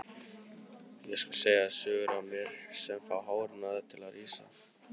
Ég skal segja þér sögur af mér sem fá hárin á þér til að rísa.